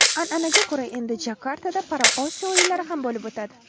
An’anaga ko‘ra, endi Jakartada Paraosiyo o‘yinlari ham bo‘lib o‘tadi.